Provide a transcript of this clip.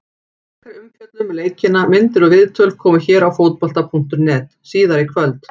Frekari umfjöllun um leikina, myndir og viðtöl, koma hér á Fótbolta.net síðar í kvöld.